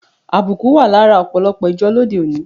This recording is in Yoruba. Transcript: Àbùkù wa lára òpòlòpò ìjo lóde oni